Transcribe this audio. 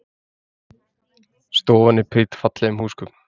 Stofan er prýdd fallegum húsgögnum